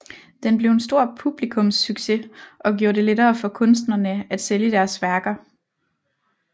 Den blev en stor publikumssucces og gjorde det lettere for kunstnerne at sælge deres værker